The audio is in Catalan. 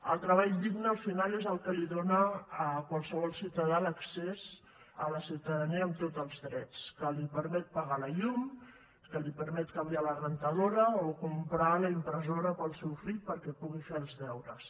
el treball digne al final és el que dóna a qualsevol ciutadà l’accés a la ciutadania amb tots els drets que li permet pagar la llum que li permet canviar la rentadora o comprar la impressora per al seu fill perquè pugui fer els deures